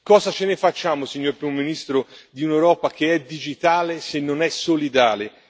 Cosa ce ne facciamo, signor primo ministro, di un'Europa che è digitale, se non è solidale?